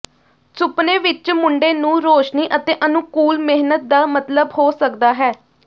ਸੁਪਨੇ ਵਿੱਚ ਮੁੰਡੇ ਨੂੰ ਰੌਸ਼ਨੀ ਅਤੇ ਅਨੁਕੂਲ ਮਿਹਨਤ ਦਾ ਮਤਲਬ ਹੋ ਸਕਦਾ ਹੈ